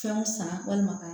Fɛnw san walima ka